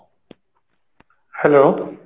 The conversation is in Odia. hello